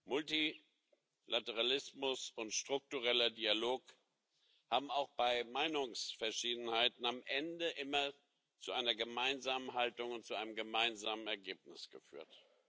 Multilateralismus und struktureller Dialog haben auch bei Meinungsverschiedenheiten am Ende immer zu einer gemeinsamen Haltung und zu einem gemeinsamen Ergebnis geführt.